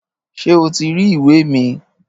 Ṣé o ti rí ìwé mi?